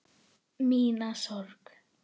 Ég strýk yfir hár hennar.